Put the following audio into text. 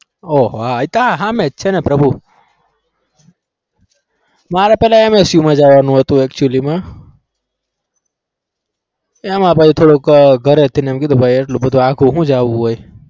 ઓહો આ તો સામે જ છેને પ્રભુ મારે પહેલા MSU જવાનું હતું actually માં એમ પછી થોડું ઘરેથી એમ કીધું કે ભાઈ એટલું બધું આઘું શું જવું હોય.